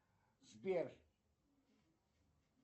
сбер